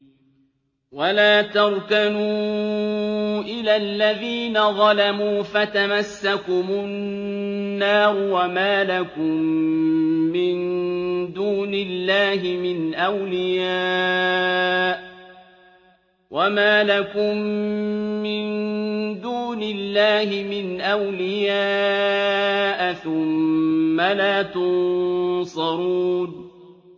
وَلَا تَرْكَنُوا إِلَى الَّذِينَ ظَلَمُوا فَتَمَسَّكُمُ النَّارُ وَمَا لَكُم مِّن دُونِ اللَّهِ مِنْ أَوْلِيَاءَ ثُمَّ لَا تُنصَرُونَ